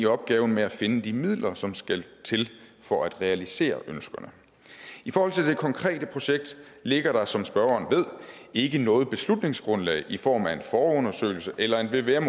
opgaven med at finde de midler som skal til for at realisere ønskerne i forhold til det konkrete projekt ligger der som spørgeren ved ikke noget beslutningsgrundlag i form af en forundersøgelse eller en vvm